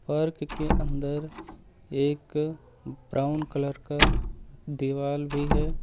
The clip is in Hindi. पार्क के अंदर एक ब्राउन कलर का दिवाल भी है।